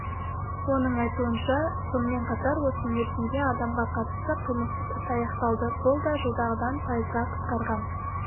оның айтуынша сонымен қатар осы мерзімде адамға қатысты қылмыстық іс аяқталды бұл да жылғыдан пайызға қысқарған